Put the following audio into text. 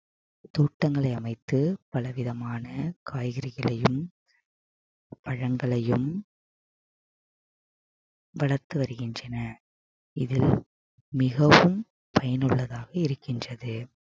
தோட்டங்களை அமைத்து பல விதமான காய்கறிகளையும் பழங்களையும் வளர்த்து வருகின்றனர் இதில் மிகவும் பயனுள்ளதாக இருக்கின்றது